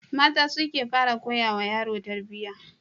Mata su ke fara koyawa yaro tarbiyya.